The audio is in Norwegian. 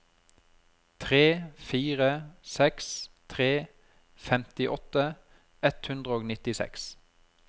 tre fire seks tre femtiåtte ett hundre og nittiseks